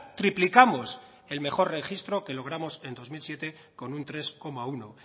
triplicamos el mejor registro que logramos en dos mil siete con un tres coma uno